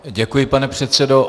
Děkuji, pane předsedo.